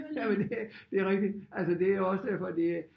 Jamen det det er rigtigt altså det er jo også derfor det